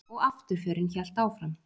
Og afturförin hélt áfram.